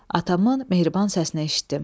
Atamın mehriban səsini eşitdim.